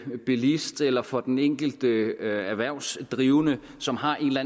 bilist eller for den enkelte erhvervsdrivende som har en eller